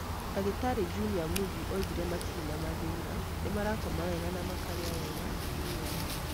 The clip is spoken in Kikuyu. Dr. Junior Mudji oigire matire na mathĩna. Nĩ marakoma wega na makarĩa wega, nĩ ega.